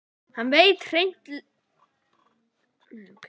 Hann veit hrein- lega ekki sitt rjúkandi ráð lengur.